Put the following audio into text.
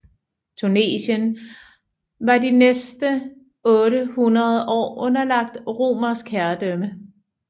Tunesien var de næste otte hundrede år underlagt romersk herredømme